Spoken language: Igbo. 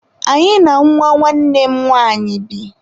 Anyị na nwa nwanne m nwanyị bi..